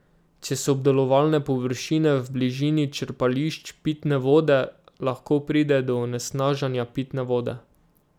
Če so obdelovalne površine v bližini črpališč pitne vode, lahko pride do onesnaženja pitne vode.